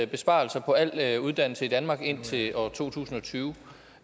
besparelser på al uddannelse i danmark indtil år to tusind og tyve